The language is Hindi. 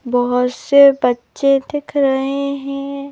बहुत से बच्चे दिख रहे है।